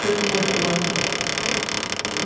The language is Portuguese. Sempre me mostrou o lado bom.